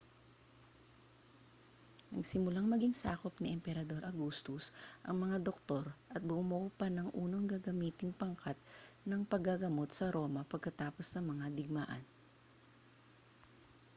nagsimulang maging sakop ni emperador augustus ang mga doktor at bumuo pa ng unang gagamiting pangkat ng paggagamot sa roma pagkatapos ng mga digmaan